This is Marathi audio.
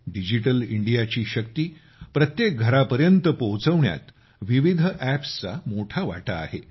डिजिटल इंडियाची शक्ती प्रत्येक घरापर्यंत पोहोचवण्यात विविध अॅप्सचा मोठा वाटा आहे